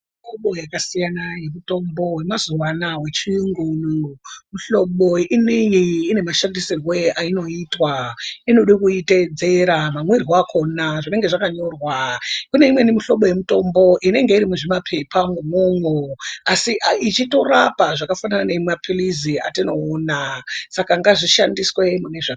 Kune muhlobo yakasiyana yemazuwa anaa yechiyungu ineyi yakasiyana. Mihlobo ineyi ine mashandisirwo ainoitwa. Inode kuteedzera mamwiro akhona zvinenge zvakanyorwa. Kune imweni mihlobo inenge iri muzvipepa umwomwo asi ichitorapa zvakafanana namapirizi atinoona. Saka ngaishandiswe mune zvakanaka.